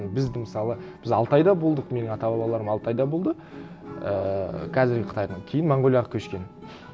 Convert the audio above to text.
бізді мысалы біз алтайда болдық менің ата бабаларым алтайда болды ііі қазіргі қытайдың кейін монғолияға көшкен